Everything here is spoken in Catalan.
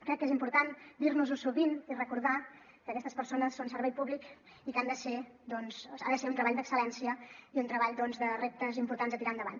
crec que és important dirnosho sovint i recordar que aquestes persones són servei públic i que ha de ser un treball d’excel·lència i un treball doncs de reptes importants a tirar endavant